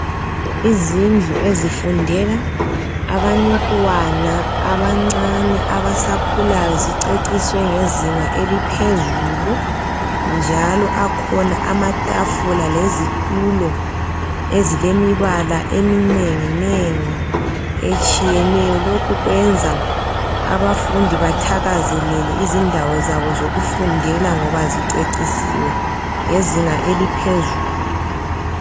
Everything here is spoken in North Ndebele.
izindlu ezifundela abantwana abancane abasakhulayo ziceciswe ngezinga eliphezulu njalo akhona amatafuna lezitulo ezilemibala etshiyeneyo lokh kwenza abafudi bathakazelele idawo zabo zokufundela ngoba zicecisiwe ngezinga eliphezulu.